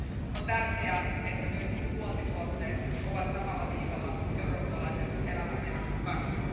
On tärkeää, että myöskin tuontituotteet ovat samalla viivalla eurooppalaisen elämänmenon kanssa.